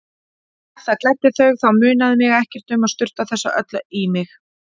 Ef það gleddi þau þá munaði mig ekkert um að sturta þessu öllu í mig.